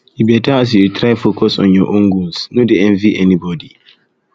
e beta as you dey try focus on your own goals no dey envy anybodi